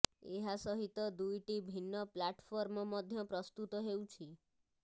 ଏହା ସହିତ ଦୁଇଟି ଭିନ୍ନ ପ୍ଲାଟଫର୍ମ ମଧ୍ୟ ପ୍ରସ୍ତୁତ ହେଉଛି